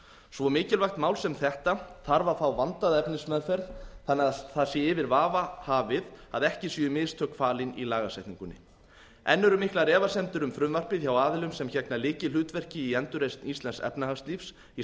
svo mikilvægt mál sem þetta þarf að fá vandaða efnismeðferð þannig að yfir vafa sé hafið að ekki séu mistök falin í lagasetningunni enn eru miklar efasemdir um frumvarpið hjá aðilum sem gegna lykilhlutverki í endurreisn íslensks efnahagslífs í